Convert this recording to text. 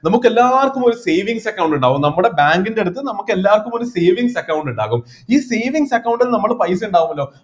നമുക്ക് എല്ലാർക്കും ഒരു savings account ഇണ്ടാവും നമ്മുടെ bank ൻ്റെ അടുത്ത് നമുക്ക് എല്ലാർക്കും ഒരു savings account ഇണ്ടാകും ഈ savings account ൽ നമക്ക് പൈസ ഉണ്ടാവല്ലോ